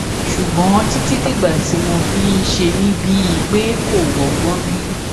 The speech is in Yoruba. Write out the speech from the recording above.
ṣùgbọn títí dìgbà tí mo fi ń ṣe mí bíi pé kò rọgbọn rí